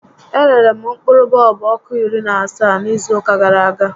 E rere m mkpụrụ bọọlbụ ọkụ iri na asaa n'izu ụka gàrà aga